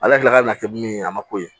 Ala kila kana kɛ min ye a ma ko ye